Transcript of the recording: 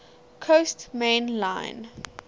coast main line